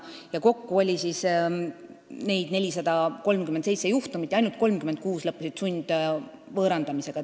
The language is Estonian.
Ja kokku oli neid 437 juhtumit ja ainult 36 lõppesid sundvõõrandamisega.